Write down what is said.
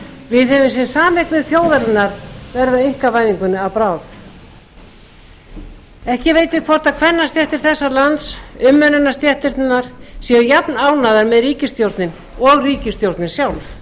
við höfum séð sameignir þjóðarinnar verða einkavæðingunni að bráð ekki veit ég hvort kvennastéttir þessa lands umönnunarstéttirnar séu jafn ánægðar með ríkisstjórnina og ríkisstjórnin sjálf